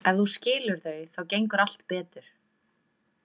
Ef þú skilur þau þá gengur allt betur.